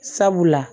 Sabula